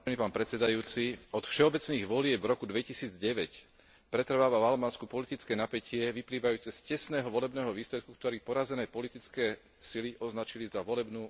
Od všeobecných volieb v roku 2009 pretrváva v Albánsku politické napätie vyplývajúce z tesného volebného výsledku, ktorý porazené politické sily označili za volebnú manipuláciu.